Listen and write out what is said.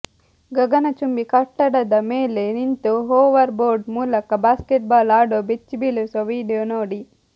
ಗಗನಚುಂಬಿ ಕಟ್ಟಡದ ಮೇಲೆ ನಿಂತು ಹೋವರ್ ಬೋರ್ಡ್ ಮೂಲಕ ಬಾಸ್ಕೆಟ್ ಬಾಲ್ ಆಡೋ ಬೆಚ್ಚಿಬೀಳಿಸುವ ವಿಡಿಯೋ ನೋಡಿ